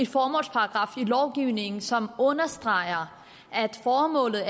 formålsparagraf i lovgivningen som understreger at formålet